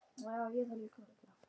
Frekari prófanir eru framundan